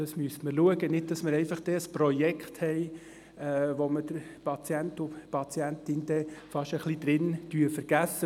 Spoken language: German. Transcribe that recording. Das müssen wir prüfen, um zu verhindern, dass wir ein Projekt haben, bei dem wir den Patienten und die Patientin fest etwas vergessen.